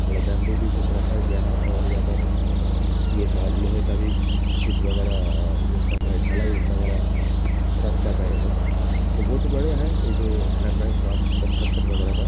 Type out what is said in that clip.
थोड़ा बैम्बू भी कुछ रखा गया है और यहाँ पर आ सरिये का लोहे का भी कुछ वगैरह आ यह कर रहे हैं। ढ़लाई वगैरह स्टार्ट कर रहे है यह लोग तो बहोत ही बढ़ियाँ है यह जो कर रहे हैं काम कंस्ट्रक्शन वगैरह का --